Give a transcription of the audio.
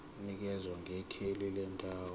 nikeza ngekheli lendawo